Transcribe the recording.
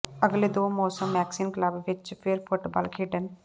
ਅਗਲੇ ਦੋ ਮੌਸਮ ਮੈਕਸੀਕਨ ਕਲੱਬ ਵਿੱਚ ਫਿਰ ਫੁੱਟਬਾਲ ਖੇਡਣ